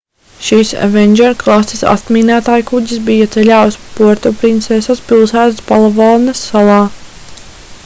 šis avenger klases atmīnētājkuģis bija ceļā uz puertoprinsesas pilsētu palavanas salā